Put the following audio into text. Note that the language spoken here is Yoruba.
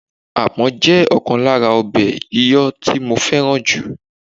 Apon jẹ́ ọ̀kan lára ọbẹ̀ yíyọ tí mo fẹ́ràn jùlọ.